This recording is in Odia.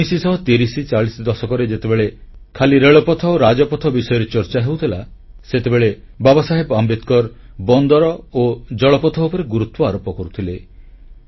1930 ବା 1940 ଦଶକରେ ଯେତେବେଳେ ଖାଲି ରେଳପଥ ଓ ରାଜପଥ ବିଷୟରେ ଚର୍ଚ୍ଚା ହେଉଥିଲା ସେତେବେଳେ ବାବାସାହେବ ଆମ୍ବେଦକର ବନ୍ଦର ଓ ଜଳପଥ ଉପରେ ଗୁରୁତ୍ୱ ଆରୋପ କରୁଥିଲେ